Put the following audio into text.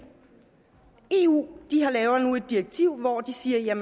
eu laver nu et direktiv hvori de siger